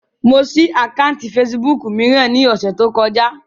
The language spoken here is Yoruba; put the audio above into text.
Mo ṣí àkáùntì fesibúùkù mìíràn ní ọ̀sẹ̀ tí ó kọjá